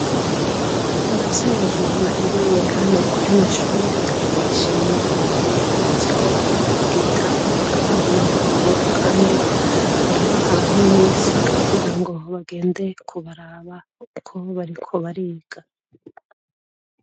Abavyeyi barereye hano kuri rino shuri, barashimira ubuyobozi ko bwitaho abana babo, kandi barabaha n'imisi kugira ngo bagende kubaraba uko bariko bariga.